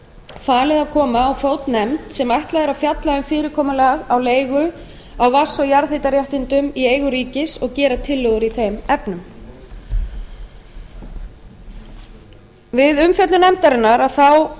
falið að koma á fót nefnd sem ætlað er að fjalla um fyrirkomulag leigu á vatns og jarðhitaréttindum í eigu ríkis og gera tillögur í þeim efnum við umfjöllun nefndarinnar